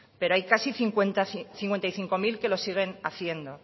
pero hay casi cincuenta y cinco mil que lo siguen haciendo